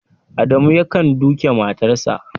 Adamu yakan duke matarsa